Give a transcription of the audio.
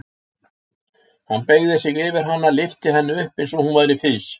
Hann beygði sig yfir hana og lyfti henni upp eins og hún væri fis.